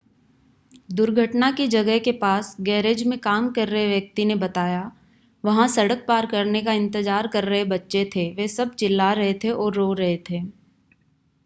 दुर्घटना की जगह के पास गैरेज में काम कर रहे व्यक्ति ने बताया वहां सड़क पार करने का इंतज़ार कर रहे बच्चे थे वे सब चिल्ला रहे थे और रो रहे थे